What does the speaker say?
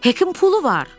Hekin pulu var.